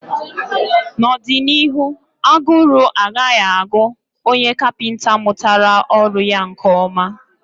n'ọdịnihu, agụrụ agaghị agụ onye kapịnta mụtara ọrụ ya nke ọma.